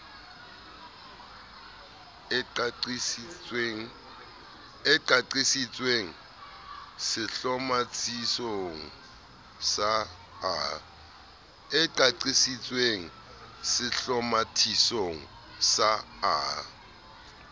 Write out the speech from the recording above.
e qaqisitsweng sehlomathisong sa a